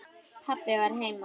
Pabbi var heima.